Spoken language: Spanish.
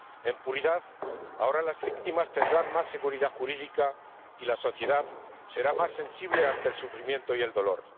En puridad, ahora las víctimas tendrán más seguridad jurídica y la sociedad será más sensible ante el sufrimiento y el dolor.